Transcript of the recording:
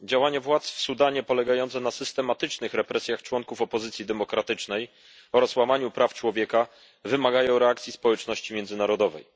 Działania władz w Sudanie polegające na systematycznych represjach członków opozycji demokratycznej oraz na łamaniu praw człowieka wymagają reakcji społeczności międzynarodowej.